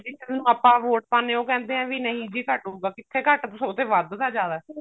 ਆਪਾਂ ਵੋਟ ਪਾਉਣੇ ਹਾਂ ਉਹ ਕਹਿੰਦੇ ਨੇ ਨਹੀਂ ਜੀ ਸਾਨੂੰ ਕਿੱਥੇ ਘੱਟ ਸਗੋਂ ਤੇ ਵੱਧਦਾ ਜਿਆਦਾ